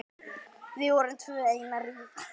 Við erum tvö ein.